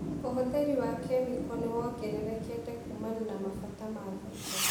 ũhũthĩri wa kĩmĩko nĩwongererekete kumana na mabata ma thoko.